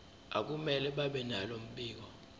akumele babenalo mbiko